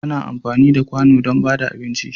Ana amfani da ƙwano don ba da abinci.